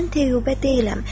Mən Teyyubə deyiləm.